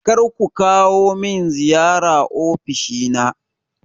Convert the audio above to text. Kar ku kawo min ziyara ofishina!